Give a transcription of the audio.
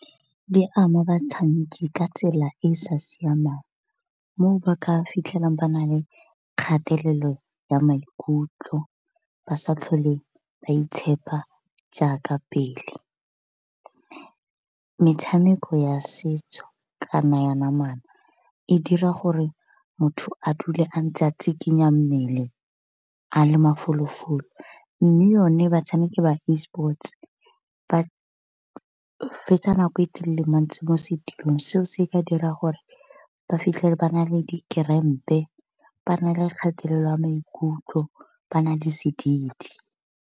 Di ama batshameki ka tsela e e sa siamang mo ba ka fitlhelang ba na le kgatelelo ya maikutlo ba sa tlhole ba itshepa jaaka pele. Metshameko ya setso kana ya namana e dira gore motho a dule a ntse a tsikinya mmele a le mafolofolo, mme yone batshameki ba e-sports ba fetsa nako e telele mantsi mo setulong seo se ka dira gore ba fitlhele ba na le di kerempe, ba na le kgatelelo ya maikutlo, ba na le sedidi.